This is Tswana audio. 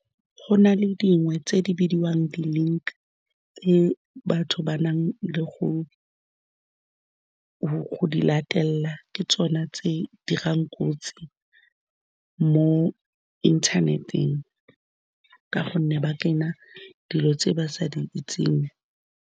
Go nale dingwe tse di bidiwang di-link-i, tse batho ba nang le go di latelela. Ke tsone tse dirang kotsi mo inthaneteng ka gonne ba kena dilo tse ba sa di itseng.